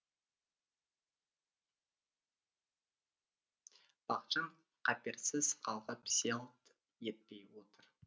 бақытжан қаперсіз қалғып селт етпей отыр